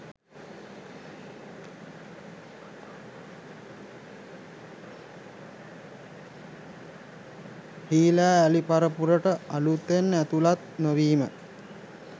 හීලෑ අලි පරපුරට අලූතෙන් ඇතුළත් නොවීම